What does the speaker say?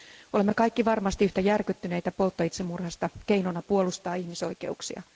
Olemme kaikki varmasti yhtä järkyttyneitä polttoitsemurhasta keinona puolustaa ihmisoikeuksia.